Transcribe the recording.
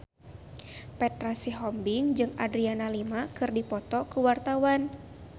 Petra Sihombing jeung Adriana Lima keur dipoto ku wartawan